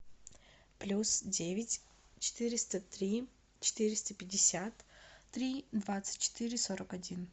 плюс девять четыреста три четыреста пятьдесят три двадцать четыре сорок один